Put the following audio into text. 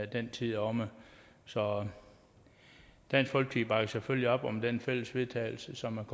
den tid er omme så dansk folkeparti bakker selvfølgelig op om det fælles vedtagelse som